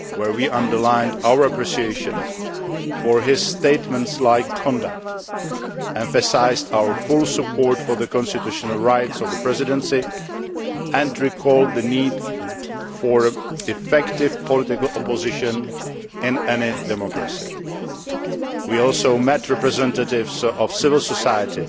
we underlined our appreciation of his statesmanlike conduct, emphasised our full support for the constitutional rights of the Presidency, and recalled the need for effective political opposition in any democracy. We also met representatives of civil society